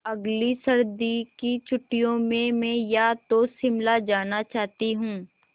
अगली सर्दी की छुट्टियों में मैं या तो शिमला जाना चाहती हूँ